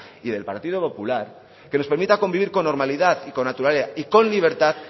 y del partido popular que les permita convivir con normalidad y con naturalidad y con libertad